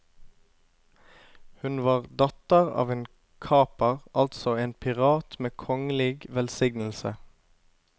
Hun var datter av en kaper, altså en pirat med kongelig velsignelse.